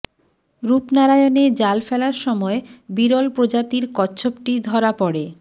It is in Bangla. রূপনারায়ণে জাল ফেলার সময় বিরল প্রজাতির কচ্ছপটি ধরা পড়ে